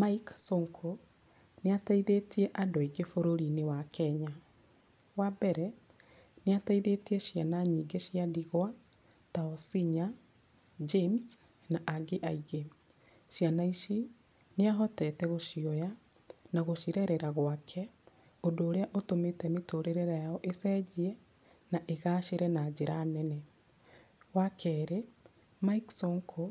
Mike Sonko ,nĩ ateithĩtie andũ aingĩ bũrũri-inĩ wa Kenya. Wa mbere, nĩ ateithĩtie ciana nyingĩ cia ndigwa ta Osinya, James, na angĩ aingĩ. Ciana ici, nĩ ahotete gũcioya na gũcirerera gwake ũndũ urĩa ũtũmĩte mĩtũrĩre yao ĩcenjie na ĩgacĩre na njĩra nene. Wa kerĩ, Mike Sonko,